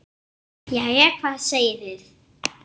Þú kemur líka.